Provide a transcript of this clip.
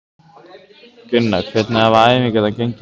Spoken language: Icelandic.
Gunnar: Hvernig hafa æfingar gengið hjá ykkur?